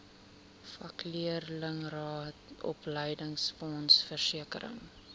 vakleerlingraad opleidingsfonds versekering